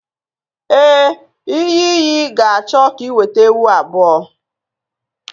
Ee, iyi iyi ga-achọ ka ị weta ewu abụọ